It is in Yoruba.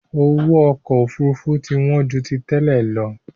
Owó ọkọ Òfurufú ti wọn ju tí tẹ́lẹ̀ lọ